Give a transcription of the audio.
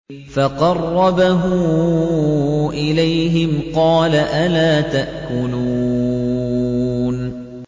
فَقَرَّبَهُ إِلَيْهِمْ قَالَ أَلَا تَأْكُلُونَ